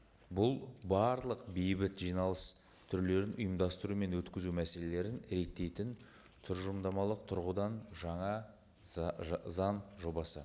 бұл барлық бейбіт жиналыс түрлерін ұйымдастыру мен өткізу мәселелерін реттейтін тұжырымдамалық тұрғыдан жаңа жобасы